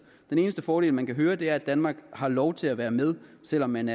den eneste fordel man hører om er at danmark har lov til at være med selv om man